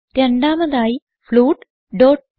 രണ്ടാമതായി ഫ്ലോട്ട്